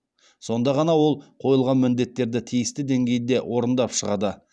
сонда ғана ол қойылған міндеттерді тиісті деңгейде орындап шығады